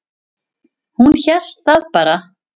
Hún hélt það bara.